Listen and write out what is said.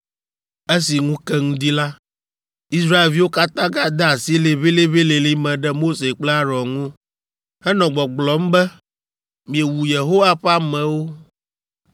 Esi ŋu ke ŋdi la, Israelviwo katã gade asi liʋĩliʋĩlilĩ me ɖe Mose kple Aron ŋu, henɔ gbɔgblɔm be, “Miewu Yehowa ƒe amewo.”